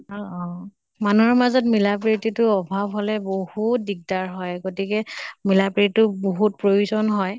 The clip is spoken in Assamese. অ অ । মানুহৰ মাজত মিলা প্ৰিতিটো অভাৱ হʼলে বহুত দিগ্দাৰ হয়। গতিকে মিলা প্ৰি তো বহুত প্ৰয়োজন হয়।